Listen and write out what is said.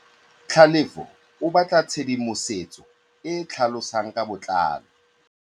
Tlhalefô o batla tshedimosetsô e e tlhalosang ka botlalô.